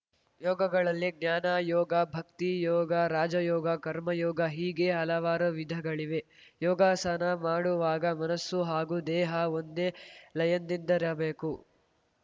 ಯೋಗಗಳಲ್ಲಿ ಜ್ಞಾನ ಯೋಗ ಭಕ್ತಿ ಯೋಗ ರಾಜಯೋಗ ಕರ್ಮಯೋಗ ಹೀಗೆ ಹಲವಾರು ವಿಧಗಳಿವೆ ಯೋಗಾಸನ ಮಾಡುವಾಗ ಮನಸ್ಸು ಹಾಗೂ ದೇಹ ಒಂದೇ ಲಯದಿಂದಿರಬೇಕು